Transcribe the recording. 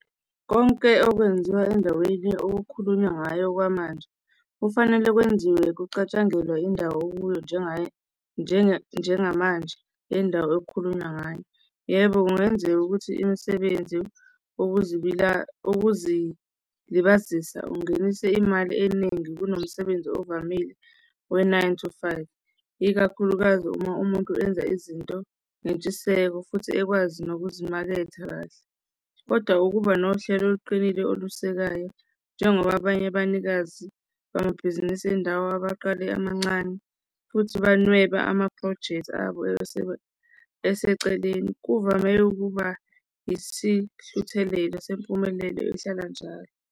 Konke okwenziwa endaweni okukhulunywa ngayo okwamanje kufanele kwenziwe, kucatshangelwa indawo okuyo njengayo njengamanje yendawo okukhulunywa ngayo. Yebo kungenzeka ukuthi imisebenzi okuzilibazisa ungenise imali eningi kunomsebenzi ovamile we-nine to five, ikakhulukazi uma umuntu enza izinto nentshiseko futhi ekwazi nokuzimaketha kahle. Kodwa ukuba nohlelo oluqinile olusekayo, njengoba abanye abanikazi bamabhizinisi endawo abaqale emancane futhi banweba amaphrojekthi abo eseceleni, kuvame ukuba isihluthelelo sempumelelo ehlala njalo.